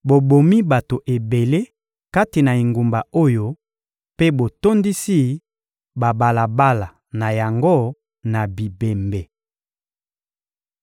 Bobomi bato ebele kati na engumba oyo mpe botondisi babalabala na yango na bibembe.